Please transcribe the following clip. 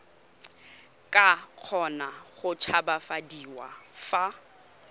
ka kgona go tshabafadiwa fa